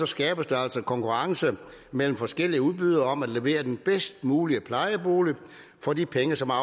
skabes der altså konkurrence mellem forskellige udbydere om at levere den bedst mulige plejebolig for de penge som er